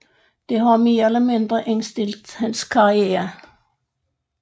Dette har mere eller mindre indstillet hans karriere